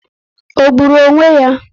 Ọ gburu onwe ya?